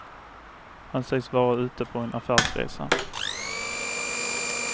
Han sägs vara ute på en affärsresa.